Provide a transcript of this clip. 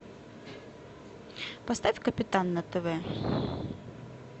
поставь капитан на тв